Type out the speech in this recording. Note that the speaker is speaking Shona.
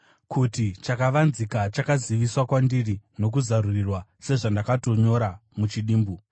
kuti chakavanzika chakaziviswa kwandiri nokuzarurirwa, sezvandakatonyora muchidimbu.